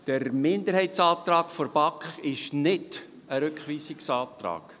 Der Minderheitsantrag der BaK ist nicht ein Rückweisungsantrag.